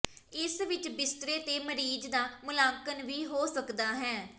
ਇਸ ਵਿੱਚ ਬਿਸਤਰੇ ਤੇ ਮਰੀਜ਼ ਦਾ ਮੁਲਾਂਕਣ ਵੀ ਹੋ ਸਕਦਾ ਹੈ